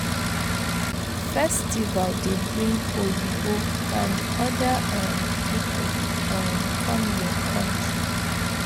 Festival dey bring oyibo and oda um pipo um com yur kontry